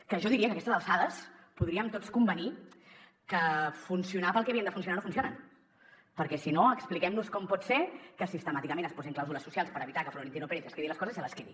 que jo diria que a aquestes alçades podríem tots convenir que funcionar pel que havien de funcionar no funcionen perquè si no expliquem nos com pot ser que sistemàticament es posin clàusules socials per evitar que florentino pérez es quedi les coses i se que quedi